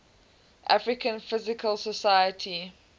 american physical society